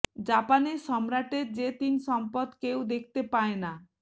জাপানের সম্রাটের যে তিন সম্পদ কেউ দেখতে পায় না